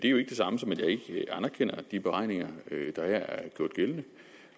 jo ikke det samme som at jeg ikke anerkender de beregninger der her er gjort gældende